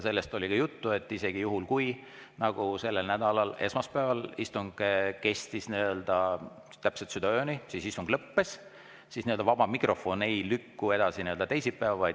Sellest oli ka juttu, et juhul, kui nagu selle nädala esmaspäeval, et istung kestis täpselt südaööni ja siis lõppes, ei lükku vaba mikrofon edasi teisipäeva.